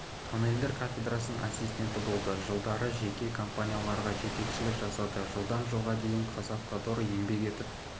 тоннелдер кафедрасының ассистенті болды жылдары жеке компанияларға жетекшілік жасады жылдан жылға дейін қазақавтодор еңбек етіп